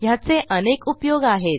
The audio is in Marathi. ह्याचे अनेक उपयोग आहेत